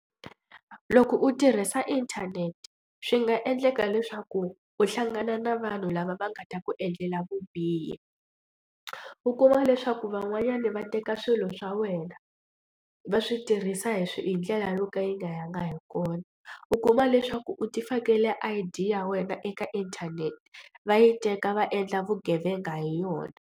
Loko u tirhisa inthanete swi nga endleka leswaku u hlangana na vanhu lava va nga ta ku endlela vubihi. U kuma leswaku van'wanyani va teka swilo swa wena va swi tirhisa hi swi hi ndlela yo ka yi nga yanga hi kona u kuma leswaku u ti fakela I_D ya wena eka inthanete va yi teka va endla vugevenga hi yona.